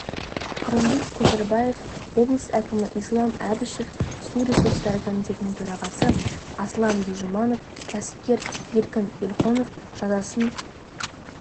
қырымбек көшербаев облыс әкімі ислам әбішев су ресурстары комитетінің төрағасы аслан бижұманов кәсіпкер еркін елқонов жазасын